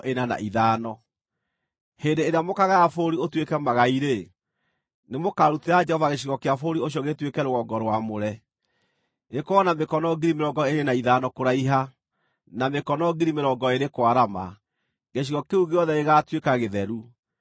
“ ‘Hĩndĩ ĩrĩa mũkaagaya bũrũri ũtuĩke magai-rĩ, nĩmũkarutĩra Jehova gĩcigo kĩa bũrũri ũcio gĩtuĩke rũgongo rwamũre, gĩkorwo na mĩkono 25,000 kũraiha, na mĩkono 20,000 kwarama; gĩcigo kĩu gĩothe gĩgaatuĩka gĩtheru.